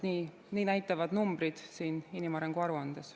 Nii näitavad numbrid inimarengu aruandes.